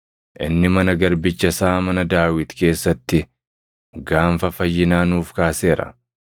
Inni mana garbicha isaa mana Daawit keessatti gaanfa fayyinaa nuuf kaaseera;